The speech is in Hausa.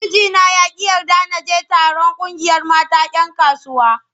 Mijina ya ƙi yarda na je taron ƙungiyar mata 'yan kasuwa.